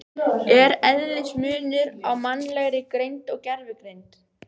Er eðlismunur á mannlegri greind og gervigreind?